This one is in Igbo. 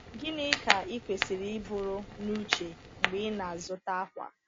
Gịnị ka ị kwesịrị iburu n’uche mgbe ị na-azụta akwa?